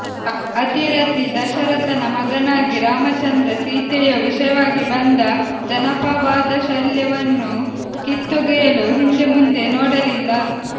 ಅತಿರಥಿ ದಶರಥನ ಮಗನಾಗಿ ರಾಮಚಂದ್ರ ಸೀತೆಯ ವಿಷಯವಾಗಿ ಬಂದ ಜನಾಪವಾದಶಲ್ಯವನ್ನು ಕಿತ್ತೊಗೆಯಲು ಹಿಂದೆಮುಂದೆ ನೋಡಲಿಲ್ಲ